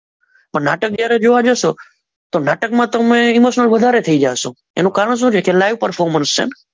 તો નાટક જ્યારે જોવા જશો તો નાટકમાં તો હું ઈમોશનલ વધારે થઈ જઈશ એનું કારણ શું છે લાઈવ પર્ફોર્મન્સ છે.